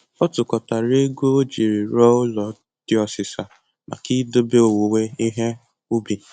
Ọ tụkọtara ego o jiri rụọ ụlọ dị ọsịsa maka idobe owuwe ihe ubi